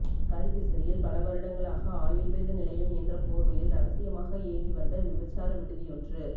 கல்கிஸ்ஸையில் பல வருடங்களாக ஆயுள்வேத நிலையம் என்ற போர்வையில் இரகசியமாக இயங்கி வந்த விபச்சார விடுதியொன்று